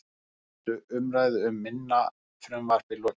Fyrstu umræðu um minna frumvarpið lokið